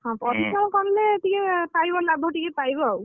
ହଁ ପରିଶ୍ରମ କଲେ ଟିକେ ପାଇବ ଲାଭ, ଆଉ,